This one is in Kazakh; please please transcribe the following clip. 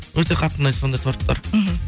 өте қатты ұнайды сондай торттар мхм